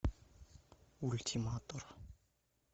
ультиматор